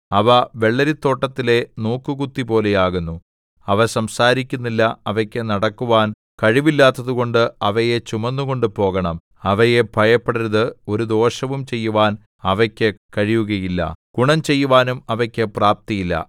അവ വെള്ളരിത്തോട്ടത്തിലെ നോക്കുകുത്തിപോലെയാകുന്നു അവ സംസാരിക്കുന്നില്ല അവയ്ക്കു നടക്കുവാൻ കഴിവില്ലാത്തതുകൊണ്ട് അവയെ ചുമന്നുകൊണ്ടു പോകണം അവയെ ഭയപ്പെടരുത് ഒരു ദോഷവും ചെയ്യുവാൻ അവയ്ക്കു കഴിയുകയില്ല ഗുണം ചെയ്യുവാനും അവയ്ക്കു പ്രാപ്തിയില്ല